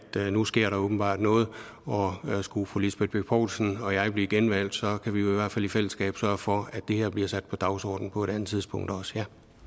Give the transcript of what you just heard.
nu sker der åbenbart noget og skulle fru lisbeth bech poulsen og jeg blive genvalgt så kan vi jo i hvert fald i fællesskab sørge for at det her bliver sat på dagsordenen på et andet tidspunkt